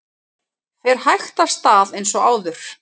Fer hægt af stað eins og áður